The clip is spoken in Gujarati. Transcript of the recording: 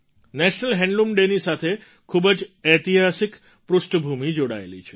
નેશનલ હેન્ડલૂમ ડૅની સાથે ખૂબ જ ઐતિહાસિક પૃષ્ઠભૂમિ જોડાયેલી છે